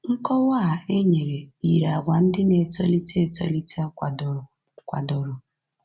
Nkọwa a e nyere yiri àgwà ndị na-etolite etolite kwadoro. kwadoro.